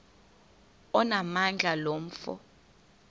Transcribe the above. onamandla lo mfo